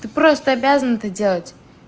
ты просто обязан это делать